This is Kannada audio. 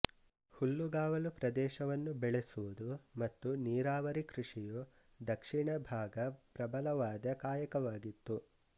ಹುಲ್ಲುಗಾವಲು ಪ್ರದೇಶವನ್ನು ಬೆಳೆಸುವುದು ಮತ್ತು ನೀರಾವರಿ ಕೃಷಿಯು ದಕ್ಷಿಣಭಾಗ ಪ್ರಬಲವಾದ ಕಾಯಕವಾಗಿತ್ತು